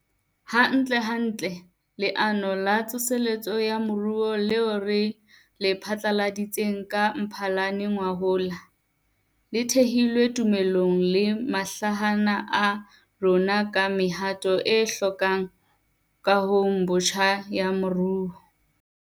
Hantlentle, Leano la Tsoseletso ya Moruo leo re le phatlaladitseng ka Mphalane ngwahola, le thehilwe tumellanong le mahlahana a rona ka mehato e hlokahalang kahong botjha ya moruo.